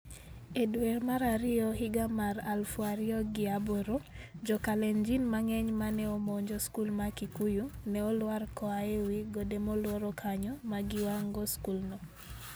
E dwe mar ariyo higa mar 2008, jo Kalenjin mang'eny ma ne omonjo skul mar Kikuyu, ne olwar koa e wi gode molworo kanyo ma giwang'o skulno.